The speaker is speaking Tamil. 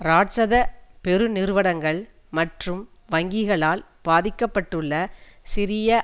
இராட்சத பெருநிறுவனங்கள் மற்றும் வங்கிகளால் பாதிகப்பட்டுள்ள சிறிய